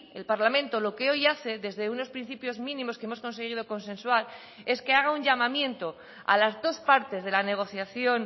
el parlamento lo que hoy hace desde unos principios mínimos que hemos conseguido consensuar es que haga un llamamiento a las dos partes de la negociación